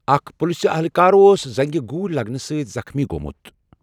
اکھ پٕلسہٕ اہلکار اوس زنٛگہِ گوٗلۍ لگنہٕ سۭتۍ زخٕمی گوٚمُت۔